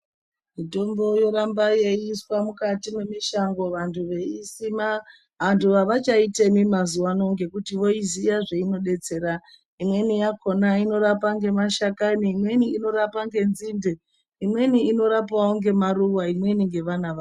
Mitombo yoramba yei iswa mukati me mishango vantu vei isima antu avacha itemi mazuva ano ngekuti voyiziya zvaino detsera imweni yakona inorapa nge mashakani imweni inorapa nge nzinde imweni ino rapawo nge maruva imweni nge vana vayo.